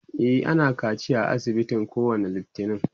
e ana kaciya a asibitin kowani littani